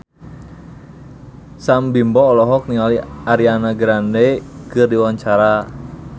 Sam Bimbo olohok ningali Ariana Grande keur diwawancara